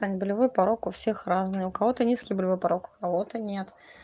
таня болевой порог у всех разный у кого-то низкий болевой порог у кого-то нет